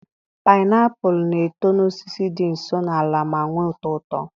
painiapulu na-eto n'osisi dị nso n'ala ma nwee ụtọ uto.